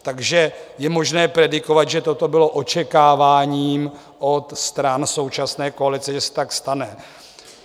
Takže je možné predikovat, že toto bylo očekáváním od stran současné koalice, že se tak stane.